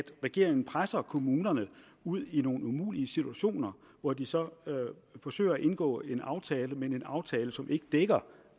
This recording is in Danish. regeringen presser kommunerne ud i nogle umulige situationer hvor de så forsøger at indgå en aftale men en aftale som ikke dækker